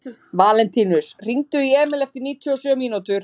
Valentínus, hringdu í Emíl eftir níutíu og sjö mínútur.